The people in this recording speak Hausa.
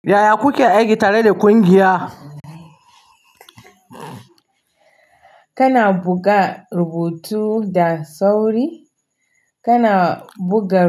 Yaya kuke aiki tare da ƙungiya? Kana buga rubutu da sauri, kana buga.